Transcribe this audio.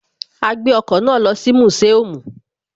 A gbé ọkọ̀ náà lọ sí museum